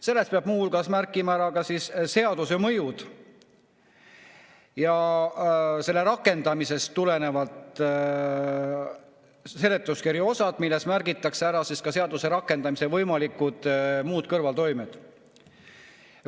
Selles peab muu hulgas märkima ära seaduse mõjud ja selle rakendamisest tulenevalt seletuskirja osad, milles märgitakse ära ka seaduse rakendamise võimalikud kõrvaltoimed.